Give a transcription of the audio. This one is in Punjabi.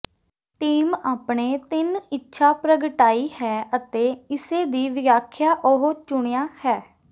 ਟੀਮ ਆਪਣੇ ਤਿੰਨ ਇੱਛਾ ਪ੍ਰਗਟਾਈ ਹੈ ਅਤੇ ਇਸੇ ਦੀ ਵਿਆਖਿਆ ਉਹ ਚੁਣਿਆ ਹੈ